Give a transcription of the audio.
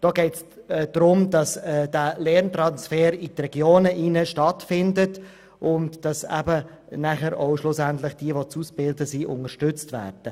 Es geht darum, dass der Lerntransfer in die Regionen stattfindet und dass schlussendlich die Auszubildenden unterstützt werden.